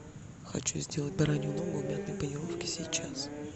хочу сделать баранью ногу в мятной панировке сейчас